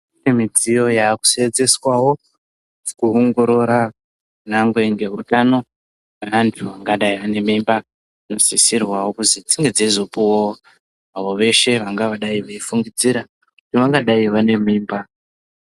Kune midziyo yakusenzeswavo kuongorora nyangwe ngehutano antu angadai ane mimba. Anosisirwa kuzi dzinge dzeizopuvavo avo veshe vangadai veifungidzira kuti vangadai vane mimba.